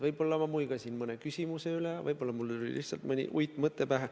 Võib-olla ma muigasin mõne küsimuse üle, võib-olla mul tuli lihtsalt mõni uitmõte pähe.